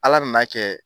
Ala nana kɛ